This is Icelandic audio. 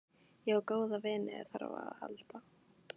Ég á góða vini ef á þarf að halda.